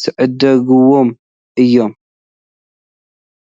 ዝዕድግዎም እዮም፡፡